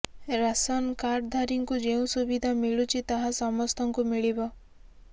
ration କାର୍ଡଧାରୀଙ୍କୁ ଯେଉଁ ସୁବିଧା ମିଳୁଛି ତାହା ସମସ୍ତଙ୍କୁ ମିଳିବ